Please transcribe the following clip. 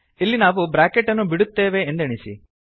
ಇಲ್ಲಿ ನಾವು ಬ್ರಾಕೆಟ್ ಅನ್ನು ಬಿಡುತ್ತೇವೆಂದೆಣಿಸಿ